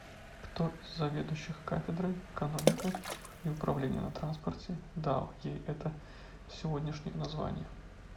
кто из заведующих кафедрой экономика и управление на транспорте дал ей это сегодняшнее название